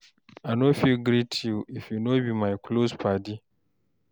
I fit no greet you if you no be my close paddy.